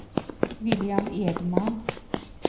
William Edman